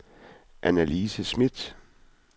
Annalise Schmidt